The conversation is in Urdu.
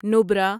نبرا